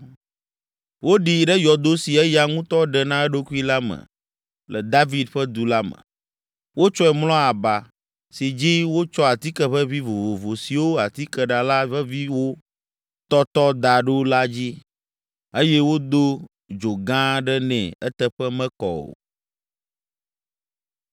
Woɖii ɖe yɔdo si eya ŋutɔ ɖe na eɖokui la me le David ƒe du la me. Wotsɔe mlɔ aba, si dzi wotsɔ atike ʋeʋĩ vovovo siwo atikeɖala veviwo tɔtɔ da ɖo la dzi, eye wodo dzo gã aɖe nɛ eteƒe mekɔ o.